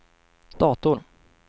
dator